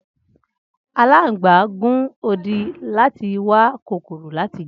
Alangba gun odi lati wa kokoro lati jẹ.